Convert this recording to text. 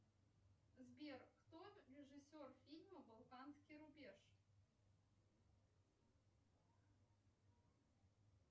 сбер кто режиссер фильма балканский рубеж